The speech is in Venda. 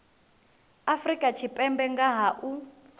afrika tshipembe nga ha u